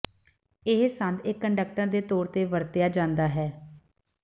ਇਹ ਸੰਦ ਇੱਕ ਕੰਡਕਟਰ ਦੇ ਤੌਰ ਤੇ ਵਰਤਿਆ ਜਾਂਦਾ ਹੈ